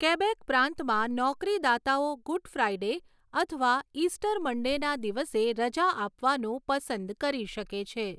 Quebec પ્રાંતમા, નોકરીદાતાઓ Good Friday અથવા ઇસ્ટર મન્ડેના દિવસે રજા આપવાનું પસંદ કરી શકે છે.